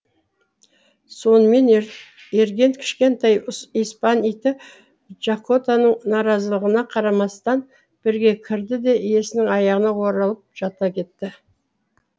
сонымен ерген кішкентай испан иті жакотаның наразылығына қарамастан бірге кірді де иесінің аяғына оралып жата кетті